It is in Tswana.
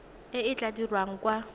e e tla dirwang kwa